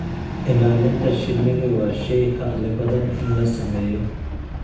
Ilaalinta shinnidu waa shay caqli badan in la sameeyo.